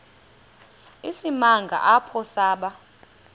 isimanga apho saba